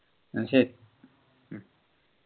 എന്ന ശരി